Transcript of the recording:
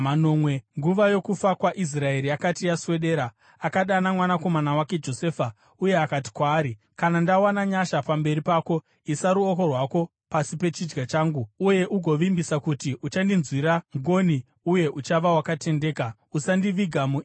Nguva yokufa kwaIsraeri yakati yaswedera, akadana mwanakomana wake Josefa uye akati kwaari, “Kana ndawana nyasha pamberi pako, isa ruoko rwako pasi pechidya changu uye ugovimbisa kuti uchandinzwira ngoni uye uchava wakatendeka. Usandiviga muIjipiti,